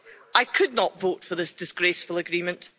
I could not vote for this disgraceful agreement.